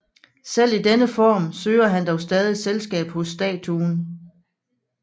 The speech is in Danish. Selv i denne form søger han dog stadig selskab hos statuen